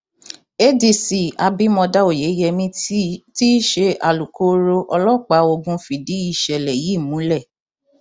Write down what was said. adc abimodá oyeyèmí tí í ṣe alūkkoro ọlọpàá ogun fìdí ìṣẹlẹ yìí múlẹ